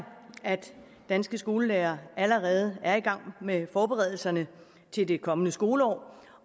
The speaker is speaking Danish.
at danske skolelærere allerede er i gang med forberedelserne til det kommende skoleår